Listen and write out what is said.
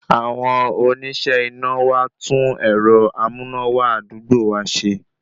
Àwọn oníṣẹ́ iná wá tún ẹ̀rọ amúnáwá àdúgbò wa ṣe